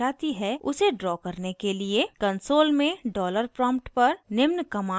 console में dollar prompt पर निम्न command type करें